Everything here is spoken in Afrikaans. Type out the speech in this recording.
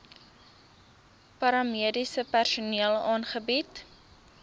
paramediese personeel aangebied